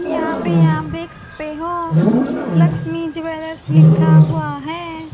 यहां पे आप देख सकते हो लक्ष्मी ज्वेलर्स लिखा हुआ है।